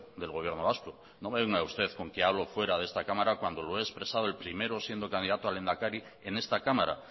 del gobierno vasco no me venga usted con que hablo fuera de esta cámara cuando lo he expresado el primero siendo candidato a lehendakari en esta cámara